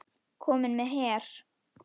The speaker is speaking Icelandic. Kominn með her!